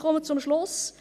Ich komme zum Schluss.